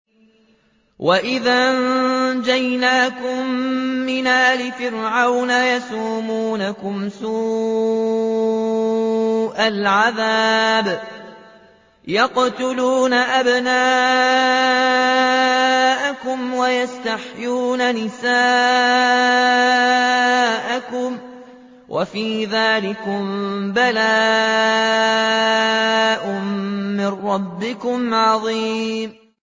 وَإِذْ أَنجَيْنَاكُم مِّنْ آلِ فِرْعَوْنَ يَسُومُونَكُمْ سُوءَ الْعَذَابِ ۖ يُقَتِّلُونَ أَبْنَاءَكُمْ وَيَسْتَحْيُونَ نِسَاءَكُمْ ۚ وَفِي ذَٰلِكُم بَلَاءٌ مِّن رَّبِّكُمْ عَظِيمٌ